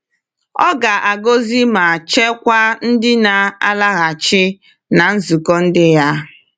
Ọ ga-agọzi ma chekwaa ndị na-alaghachi na nzukọ ndi ya.